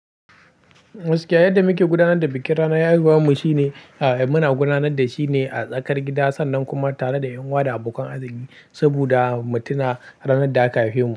Gaskiya yadda muke gudanar da bikin ranar haihuwar mu shine, eh muna gudanar da shi ne a tsakar gida sannan kuma tare da yan wa da abokan arziƙi saboda mu tuna ranar da aka haife mu.